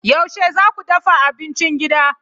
Yaushe za ku dafa abincin gida?